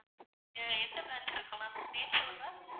ஆஹ் எந்த branch இருக்கு ma'am name சொல்லுங்க?